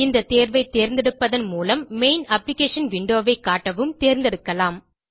இந்த தேர்வை தேர்ந்தெடுப்பதன் மூலம் மெயின் அப்ளிகேஷன் விண்டோ ஐ காட்டவும் தேரந்தெடுக்கலாம்